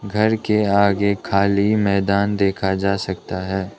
घर के आगे खाली मैदान देखा जा सकता है।